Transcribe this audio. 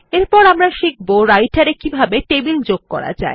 এরপর আমরা শিখব রাইটের এ কিভাবে টেবিল যোগ করা যায়